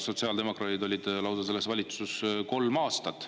Sotsiaaldemokraadid olid selles valitsuses lausa kolm aastat.